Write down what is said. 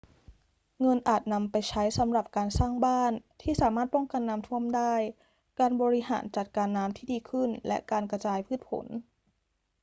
เงินอาจนำไปใช้สำหรับการสร้างบ้านที่สามารถป้องกันน้ำท่วมได้ การบริหารจัดการน้ำที่ดีขึ้น และการกระจายพืชผล